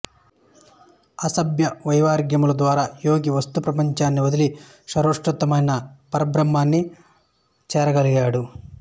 అభ్యాస వైరాగ్యముల ద్వారా యోగి వస్తు ప్రపంచాన్ని వదలి సర్వోత్కృష్టమైన పరబ్రహ్మాన్ని చేరగలడు